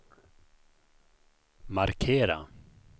markera